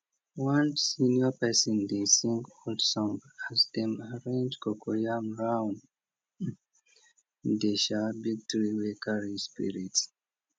one senior person dey sing old song as dem arrange coco yam round the um big tree wey carry spirit